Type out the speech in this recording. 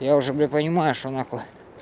я уже понимаю что на хуй